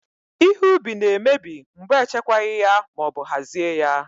Ihe ubi na emebi mgbe e chekwaghị ya ma ọbụ hazie ya